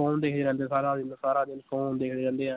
phone ਦੇਖਦੇ ਰਹਿੰਦੇ ਸਾਰਾ ਦਿਨ ਸਾਰਾ ਦਿਨ phone ਦੇਖਦੇ ਰਹਿੰਦੇ ਹੈ